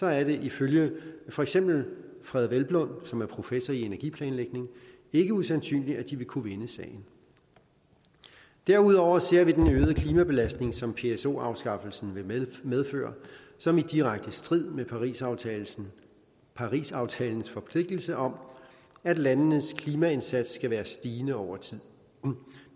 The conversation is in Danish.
er det ifølge for eksempel frede hvelplund som er professor i energiplanlægning ikke usandsynligt at de vil kunne vinde sagen derudover ser vi den øgede klimabelastning som pso afskaffelsen vil medføre som i direkte strid med parisaftalens parisaftalens forpligtelse om at landenes klimaindsats skal være stigende over tid